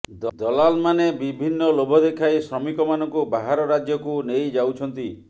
ଦଲାଲ ମାନେ ବିଭିନ୍ନ ଲୋଭ ଦେଖାଇ ଶ୍ରମିକ ମାନଙ୍କୁ ବାହାର ରାଜ୍ୟକୁ ନେଇ ଯାଉଛନ୍ତି